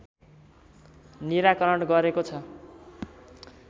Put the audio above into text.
निराकरण गरेको छ।